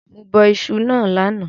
Mo bọ isu náà lánàá